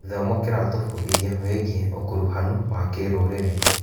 Gĩthomo kĩratũbundithia wĩgiĩ ũkuruhanu wa kĩrũrĩrĩ.